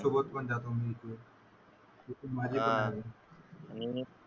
सोबत पण जातो ,,.